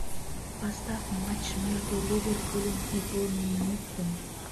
поставь матч между ливерпулем и борнмутом